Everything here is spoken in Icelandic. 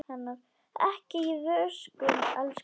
Ekki í vöskum, elsku barn.